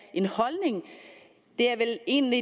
en holdning det er vel egentlig